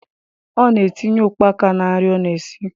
Ọ na-etinye ụkpaka na nri ọ na-esi